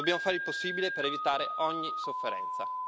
Dobbiamo fare il possibile per evitare ogni sofferenza.